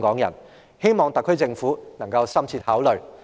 我希望特區政府可以深切考慮這點。